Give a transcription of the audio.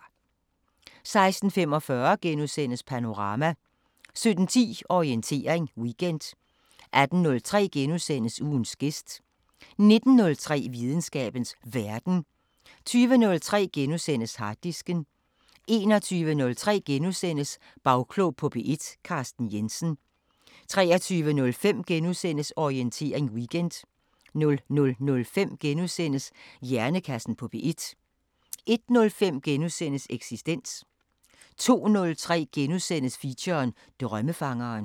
16:45: Panorama * 17:10: Orientering Weekend 18:03: Ugens gæst * 19:03: Videnskabens Verden 20:03: Harddisken * 21:03: Bagklog på P1: Carsten Jensen * 23:05: Orientering Weekend * 00:05: Hjernekassen på P1 * 01:05: Eksistens * 02:03: Feature: Drømmefangeren *